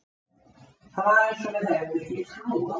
Það var eins og við hefðum ekki trú á því.